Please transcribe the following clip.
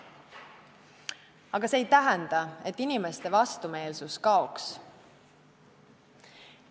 Aga see ei tähenda, et inimeste vastumeelsus kaob.